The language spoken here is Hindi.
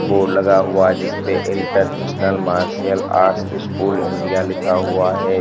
बोर्ड लगा हुआ है जिसपे international martial art school India लिखा हुआ है।